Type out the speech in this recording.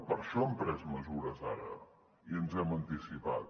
per això hem pres mesures ara i ens hem anticipat